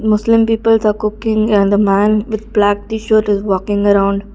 muslim people the cooking and the man with black T-shirt is walking around--